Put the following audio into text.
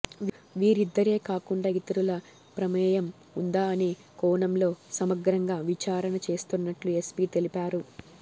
వీరిద్దరే కాకుండా ఇతరుల ప్రమేయం ఉందా అనే కోణంలో సమగ్రంగా విచారణ చేస్తున్నట్లు ఎస్పీ తెలిపారు